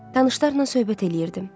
Tanışlarla söhbət eləyirdim.